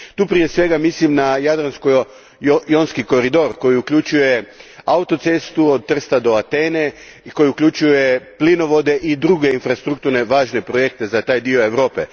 Tu prije svega mislim na Jadransko jonski koridor koji uključuje autocestu od Trsta do Atene i koji uključuje plinovode i druge infrastrukturno važne projekte za taj dio Europe.